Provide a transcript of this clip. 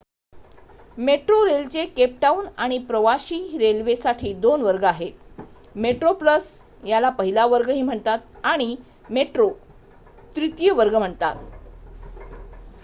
मेट्रोरेलचे Cape Town आणि प्रवाशी railway साठी 2 वर्ग आहेत: मेट्रो प्लस याला पहिला वर्ग ही म्हणतात आणि मेट्रो तृतीय वर्ग म्हणतात